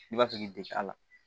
I b'a fɛ k'i dege a la